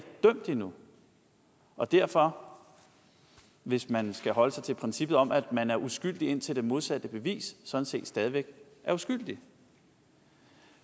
dømt endnu og derfor hvis man skal holde sig til princippet om at man er uskyldig indtil det modsatte er bevist sådan set stadig væk er uskyldig